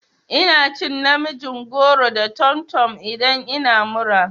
Ina cin namijin goro da tomtom idan ina mura.